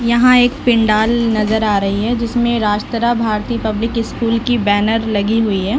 यहाँ एक पेंडाल नजर आ रही है जिसमे राष्ट्र भारतीय पब्लिक स्कूल की बैनर लगी हुई है।